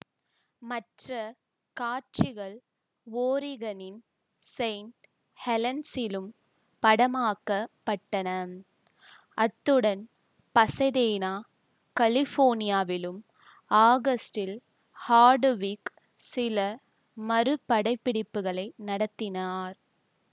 மற்ற காட்சிகள் ஓரிகனின் செயின்ட் ஹெலென்ஸிலும் படமாக்கப்பட்டன அத்துடன் பசதேனா கலிபோர்னியாவிலும் ஆகஸ்டில் ஹார்டுவிக் சில மறுபடப்பிடிப்புகளை நடத்தினார்